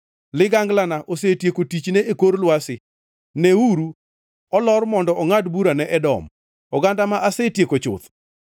Liganglana osetieko tichne e kor lwasi, neuru, olor mondo ongʼad bura ne Edom, oganda ma asetieko chuth.